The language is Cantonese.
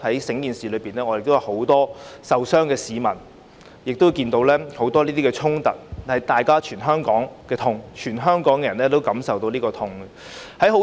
在事件中亦有很多受傷的市民，亦有很多衝突，它是全香港的痛，全香港人也感受到這份痛。